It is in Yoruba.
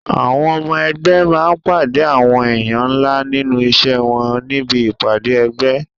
Àwọn ọmọ ẹgbé máa pàdé àwọn èèyàn ńlá nínú iṣẹ́ wọn níbi ìpàdé ẹgbẹ́.